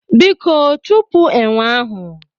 Biko chụpụ enwe ahụ!